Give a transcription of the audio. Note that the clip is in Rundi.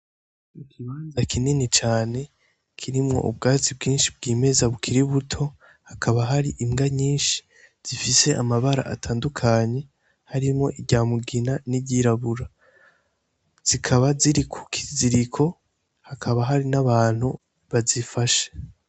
Ikibanza kinini cane kirimwo ubwatsi bwinshi bwimeza bukiri buto, hakaba hari imbwa nyinshi zifise amabara atandukanye harimwo iry'amugina n'iryirabura zikaba ziri ku kiziriko hakaba hari n'abantu bazifashe.